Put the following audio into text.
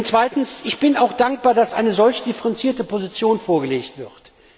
Zweitens bin ich auch dankbar, dass eine solch differenzierte Position vorgelegt wird.